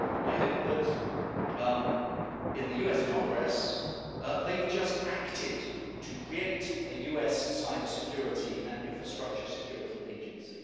I note that in the US Congress they've just acted to create a US Cybersecurity and Infrastructure Security Agency.